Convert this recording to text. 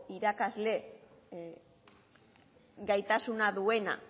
irakasle gaitasuna duena